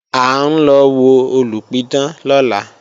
À ń lọ wo olùpidán lọ́la